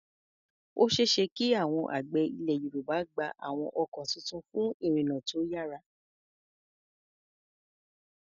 Ó ṣeé ṣe kí àwọn àgbẹ̀ Ilẹ̀ Yorùbá gba àwọn ọkọ̀ tuntun fún ìrìnnà tó yára.